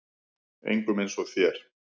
Engum eins og þér.